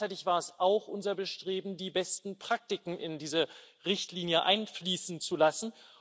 Aber gleichzeitig war es auch unser Bestreben, die besten Praktiken in diese Richtlinie einfließen zu lassen.